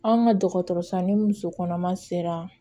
An ka dɔgɔtɔrɔso ni muso kɔnɔma sera